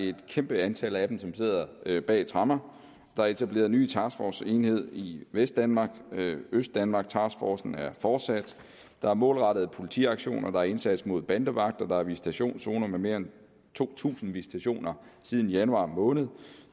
er et kæmpe antal af dem som sidder bag tremmer der er etableret en ny taskforceenhed i vestdanmark østdanmarktaskforcen er fortsat der er målrettede politiaktioner og der er indsats mod bandevagter der er visitationszoner med mere end to tusind visitationer siden januar måned